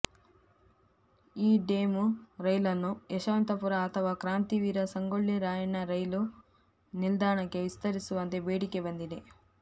ಈ ಡೆಮು ರೈಲನ್ನು ಯಶವಂತಪುರ ಅಥವಾ ಕ್ರಾಂತಿವೀರ ಸಂಗೊಳ್ಳಿ ರಾಯಣ್ಣ ರೈಲು ನಿಲ್ದಾಣಕ್ಕೆ ವಿಸ್ತರಿಸುವಂತೆ ಬೇಡಿಕೆ ಬಂದಿದೆ